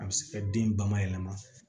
A bɛ se ka den bayɛlɛma